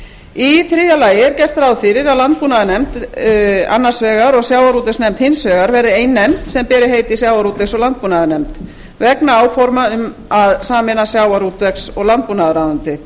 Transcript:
í þriðja lagi er gert ráð fyrir að landbúnaðarnefnd annars vegar og sjávarútvegsnefnd hins vegar verði ein nefnd sem ber heitið sjávarútvegs og landbúnaðarnefnd vegna áforma um að sameina sjávarútvegs og landbúnaðarráðuneyti